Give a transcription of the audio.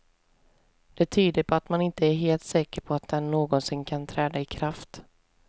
Det tyder på att man inte är helt säker på att den någonsin kan träda i kraft.